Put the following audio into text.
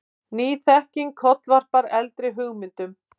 Ný þekking kollvarpar eldri hugmyndum.